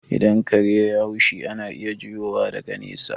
Idan kare yai haushi, ana iya jiyowa daga nesa